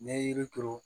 N'i ye yiri turu